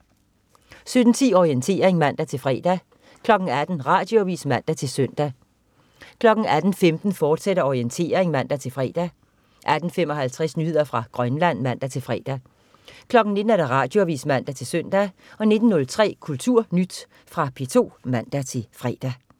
17.10 Orientering (man-fre) 18.00 Radioavis (man-søn) 18.15 Orientering, fortsat (man-fre) 18.55 Nyheder fra Grønland (man-fre) 19.00 Radioavis (man-søn) 19.03 KulturNyt. Fra P2 (man-fre)